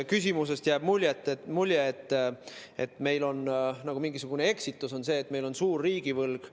Küsimusest jäi mulje, nagu mingisugune eksitus oleks see, et meil on suur riigivõlg.